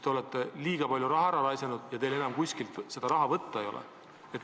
Te olete liiga palju raha ära raisanud ja enam teil kuskilt raha võtta ei ole.